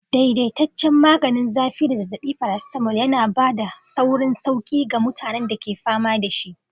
Daidaitaccen maganin zafi da zazzabi, paracetamol yana ba da saurin sauƙi ga mutanen da ke fama da shi.